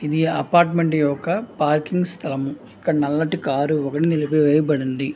ఇది ఒక అపార్ట్మెంట్ స్తలం ఇక్కడ ఒక నల్లటి కార్ నిలిపివెయ్యబడ్డది.